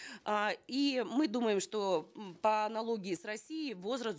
э и мы думаем что м по аналогии с россией возраст